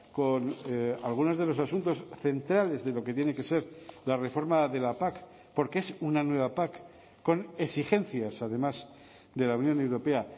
con algunos de los asuntos centrales de lo que tiene que ser la reforma de la pac porque es una nueva pac con exigencias además de la unión europea